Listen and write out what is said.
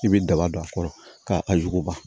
I bɛ daba don a kɔrɔ ka a juba